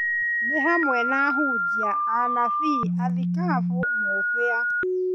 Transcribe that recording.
Nĩ hamwe na ahunjia, anabii, athikabu, mũbĩa,